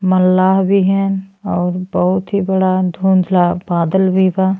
मल्लाह भी हैन और बहुत ही बड़ा धुंधला बादल भी बा।